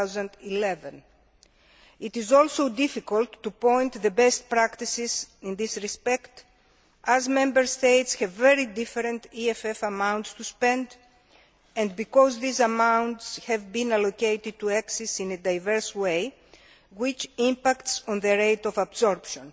2011. It is also difficult to point to best practices in this respect as Member States have very different EFF amounts to spend and these amounts have been allocated to Axes in a diverse way which impacts on the rate of absorption.